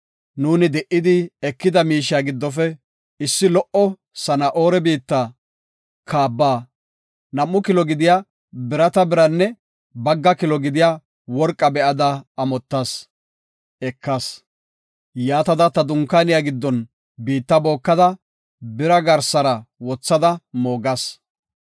Nuuni di77idi ekida miishiya giddofe issi lo77o Sana7oora biitta kaaba, nam7u kilo gidiya birata biranne bagga kilo gidiya worqa be7ada amottas; ekas. Yaatada ta dunkaaniya giddon biitta bookada bira garsara wothada moogas.”